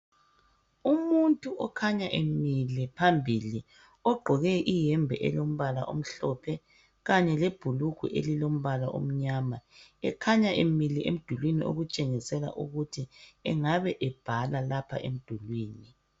Umuntu okhanya emile phambili ogqoke iyembe elombala omhlophe kanye lebhulugwe elilombala omnyama ekhanya emile emdulini okutshengisela ukuthi engaba ebhala lapha emdulini .